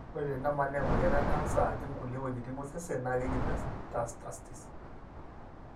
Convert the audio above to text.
ore tenemanaa emoyian ecanser ajing kulie weujitin osesen, na keji metastasis.